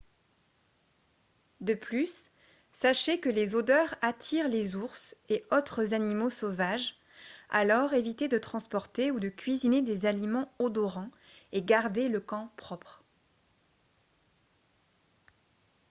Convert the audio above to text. de plus sachez que les odeurs attirent les ours et autres animaux sauvages alors évitez de transporter ou de cuisiner des aliments odorants et gardez le camp propre